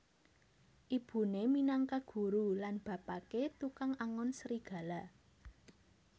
Ibune minangka guru lan bapake tukang angon serigala